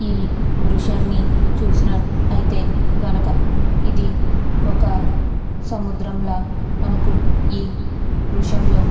ఈ దృశ్యాన్ని చూసినట్టయితే గనక ఇది ఒక సముద్రం లా మనకు ఈ దృశ్యం లో --